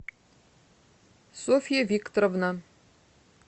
софья викторовна